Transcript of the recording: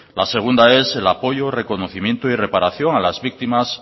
la segunda es el apoyo reconocimiento y reparación a las víctimas